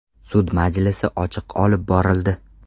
Sud majlisi ochiq olib borildi.